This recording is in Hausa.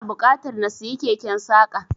Ina buƙatar na siyi keken saƙa.